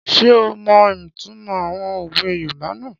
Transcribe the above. Ṣé ó mọ ìtumọ̀ àwọn òwe yoòbá náà?